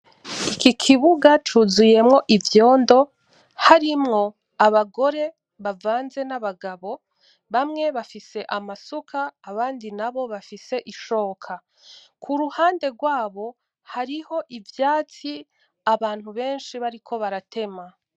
Iki kibuga cuzuyemwo ivyondo, harimwo abagore bavanze n’abagabo, bamwe bafise amasuka abandi nabo bafise ishoka. Kuruhande rwabo hariho ivyatsi abantu benshi bariko baratema.